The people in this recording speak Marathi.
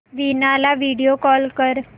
वीणा ला व्हिडिओ कॉल कर